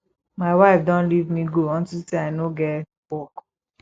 my wife don leave me go unto say i no get work